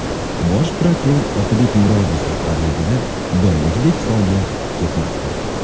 Bosh prokuror Otabek Murodov rahbarligida doimgidek faoliyat ketmoqda.